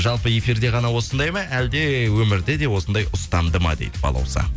жалпы эфирде ғана осындай ма әлде өмірде де осындай ұстамды ма дейді балауса